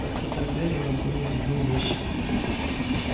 в открытую дверь ему были видны вещи